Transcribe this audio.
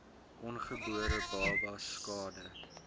ongebore babas skade